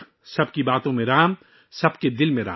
رام سب کے الفاظ میں ہیں، رام سب کے دل میں ہیں